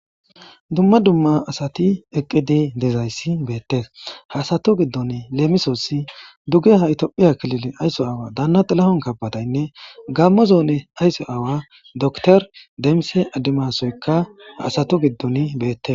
dumma dumma asati eqqidi dezayssi beettes haasatu giddon leemisossi duge ha itophiya kilile aysso aawa daana xilahon kabadaynne gammo zoone ayso aawa doktor deemise addimasoykka haasatu giddon beettes